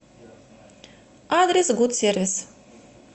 адрес гут сервис